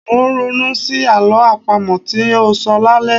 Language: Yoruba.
Mò ń ronú sí àlọ́ àpamọ tí ń óò sọ lálẹ́.